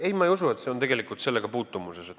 Ei, ma ei usu, et see on sellega puutumuses.